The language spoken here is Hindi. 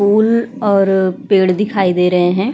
पुल और पेड़ दिखाई दे रहें है।